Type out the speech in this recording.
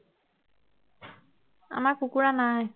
আমাৰ কুকুৰা নাই